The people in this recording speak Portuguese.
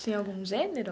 Tinha algum gênero?